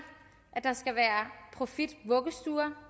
at der skal være profitvuggestuer